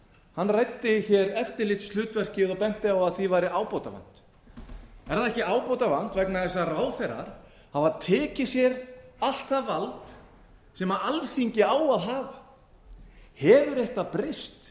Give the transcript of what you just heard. hann ræddi hér eftirlitshlutverkið og benti á að því væri ábótavant er það ekki ábótavant vegna þess að ráðherrar hafa tekið sér allt það vald sem alþingi á að hafa hefur eitthvað breyst